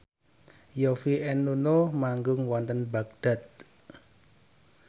Yovie and Nuno manggung wonten Baghdad